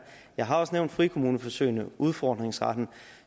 jeg har også nævnt frikommuneforsøgene og udfordringsretten